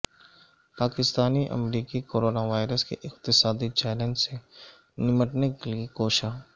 پاکستانی امریکی corona virus کے اقتصادی چیلنج سے نمٹنے کے لیے کوشاں